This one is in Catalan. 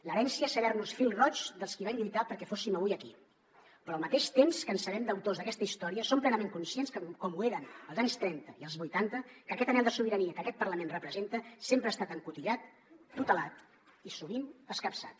l’herència és saber nos fil roig dels qui van lluitar perquè fóssim avui aquí però al mateix temps que ens sabem deutors d’aquesta història som plenament conscients com ho érem als anys trenta i als vuitanta que aquest anhel de sobirania que aquest parlament representa sempre ha estat encotillat tutelat i sovint escapçat